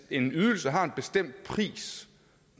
en ydelse har en bestemt pris